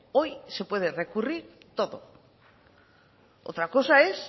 hoy se puede recurrir todo otra cosa es